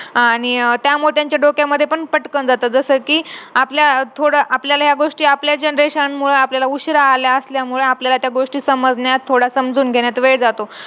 अभ्यास करावा कारण Pressure कोणाला नसतो .